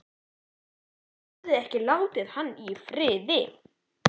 Gluggarnir höfðu ekki látið hann í friði.